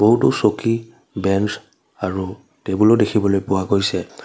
বহুতো চকী বেন্স আৰু টেবুলও দেখিবলৈ পোৱা গৈছে।